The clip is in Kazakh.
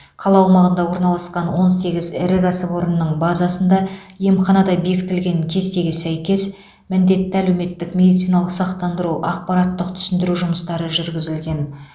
қала аумағында орналасқан он сегіз ірі кәсіпорынның базасында емханада бекітілген кестеге сәйкес міндетті әлеуметтік медициналық сақтандыру ақпараттық түсіндіру жұмыстары жүргізілген